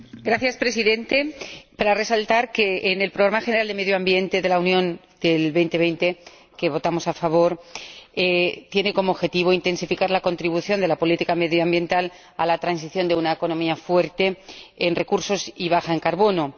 Señor Presidente, quiero resaltar que el Programa General de Medio Ambiente de la Unión hasta 2020, respecto del que votamos a favor, tiene como objetivo intensificar la contribución de la política medioambiental a la transición de una economía fuerte en recursos y baja en carbono.